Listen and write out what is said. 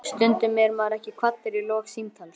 Stundum er maður ekki kvaddur í lok símtals.